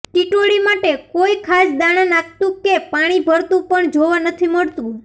ટિટોડી માટે કોઈ ખાસ દાણા નાખતું કે પાણી ભરતું પણ જોવા નથી મળતું